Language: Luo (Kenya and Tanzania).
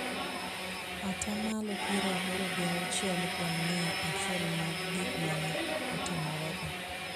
Ata malo piero aboro gi auchiel kuom mia achiel mag gik ma ne otimorego,